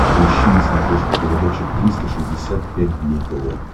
поищи на смотрешке передачу триста шестьдесят пять дней тв